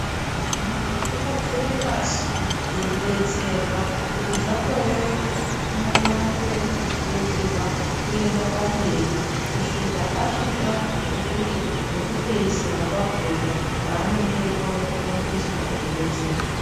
Muntu unobvire pashi eyidetserwa, hpkuti zvakorereka unokona kupfuudzirwa kuenda pamberi kusvika, asvika kwekuti pekupeisira kwakhona kwaanenenge eikona kurumbiswa eidetserwa.